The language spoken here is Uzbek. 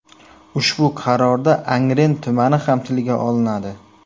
Ushbu qarorda Angren tumani ham tilga olinadi.